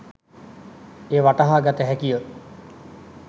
එය වටහා ගත හැකිය.